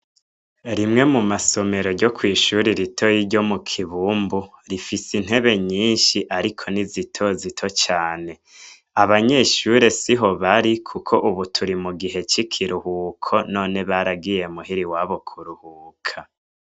Rimwe mu masomero ryo kw'ishure ritoyi ryo mu kibumbu rifise intebe nyinshi ariko ni zitozito cane ,abanyeshure siho bari kuko ubu turi mu gihe c'ikiruhuko , none baragiye muhira iwabo kuruhuka.